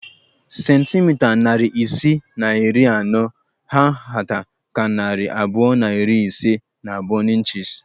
Centimita narị isii na iri anọ hà nhata ka narị abụọ na iri ise na abụọ n'ịnchis